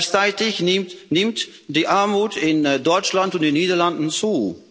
Gleichzeitig nimmt die Armut in Deutschland und den Niederlanden zu.